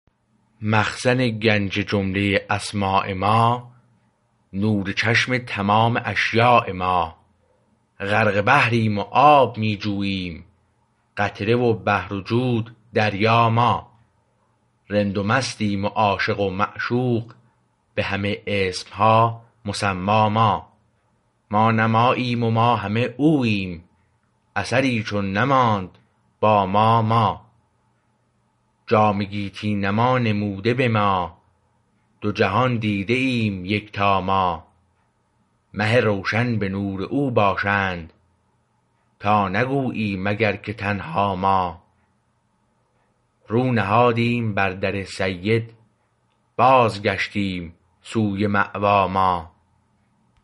مخزن گنج جمله اسما ما نور چشم تمام اشیا ما غرق بحریم و آب می جوییم قطره و بحر و جود دریا ما رند و مستیم و عاشق و معشوق به همه اسمها مسمی ما ما نه ماییم ما همه اوییم اثری چون نماند با ما ما جام گیتی نما نموده به ما دو جهان دیده ایم یکتاما مه روشن به نور او باشند تا نگویی مگر که تنها ما رو نهادیم بر در سید باز گشتیم سوی مأوی ما